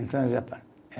Então já falo.